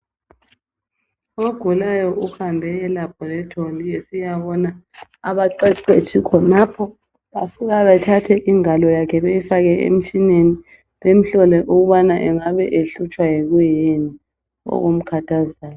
Ogulayo uhambe elaboratory esiyabona abaqeqetshi khonapho bafika bathathe ingalo yakhe beyifake emtshineni bemhlole ukubana engabe ehlutshwa yikuyini okumkhathazayo.